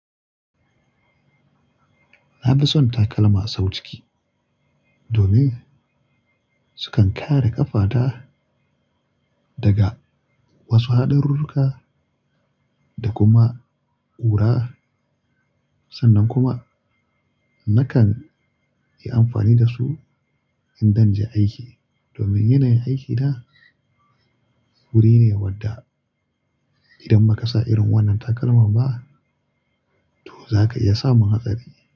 Na fi son takalma sau ciki domin sukan kare ƙafata daga wasu haɗarirruka da kuma ƙura. Sannan kuma nakan yi amfani da su in zanje aiki domin yanayin aikina wuri ne wadda idan ba ka sa irin wannan takalma ba, to za ka iya samun hatsari.